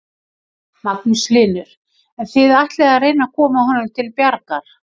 Magnús Hlynur: En þið ætlið að reyna að koma honum til bjargar?